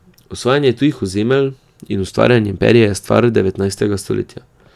Osvajanje tujih ozemelj in ustvarjanje imperija je stvar devetnajstega stoletja.